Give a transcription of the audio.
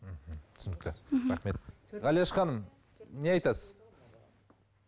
түсінікті рахмет ғалияш ханым не айтасыз